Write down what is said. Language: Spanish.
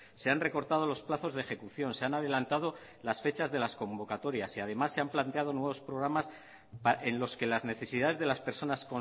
se han recortado los plazos de ejecución se han adelantado las fechas de las convocatorias y además se han planteado nuevos programas en los que las necesidades de las personas